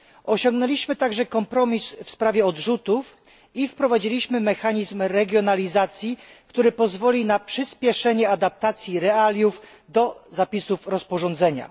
Osiągnęliśmy także kompromis w sprawie odrzutów i wprowadziliśmy mechanizm regionalizacji, który pozwoli na przyśpieszenie adaptacji realiów do zapisów rozporządzenia.